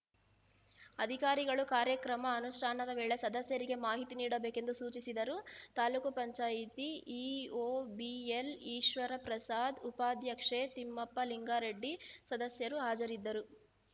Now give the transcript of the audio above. ಅಧಿಕಾರಿಗಳು ಕಾರ್ಯಕ್ರಮ ಅನುಷ್ಠಾನದ ವೇಳೆ ಸದಸ್ಯರಿಗೆ ಮಾಹಿತಿ ನೀಡಬೇಕೆಂದು ಸೂಚಿಸಿದರು ತಾಲೂಕ್ ಪಂಚಾಯಿತಿ ಇಒ ಬಿಎಲ್‌ಈಶ್ವರಪ್ರಸಾದ್‌ ಉಪಾಧ್ಯಕ್ಷೆ ತಿಪ್ಪಮ್ಮ ಲಿಂಗಾರೆಡ್ಡಿ ಸದಸ್ಯರು ಹಾಜರಿದ್ದರು